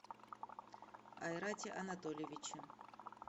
айрате анатольевиче